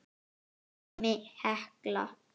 Dæmi: Hekla